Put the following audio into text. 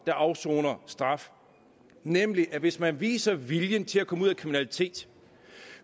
der afsoner straf nemlig at hvis man viser viljen til at komme ud af kriminalitet